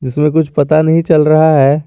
इसमें कुछ पता नहीं चल रहा है।